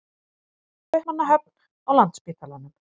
Kaupmannahöfn, á Landspítalanum.